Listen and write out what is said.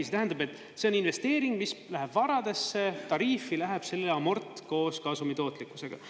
See tähendab, et see on investeering, mis läheb varadesse, tariifi, läheb sellele amort koos kasumi tootlikkusega.